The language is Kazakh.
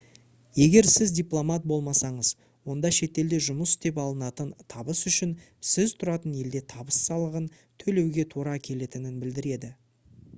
егер сіз дипломат болмасаңыз онда шетелде жұмыс істеп алынатын табыс үшін сіз тұратын елде табыс салығын төлеуге тура келетінін білдіреді